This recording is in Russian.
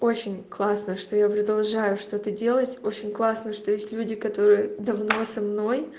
очень классно что я продолжаю что ты делать очень классно что есть люди которые давно со мной